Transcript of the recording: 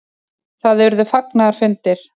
Það urðu fagnaðarfundir.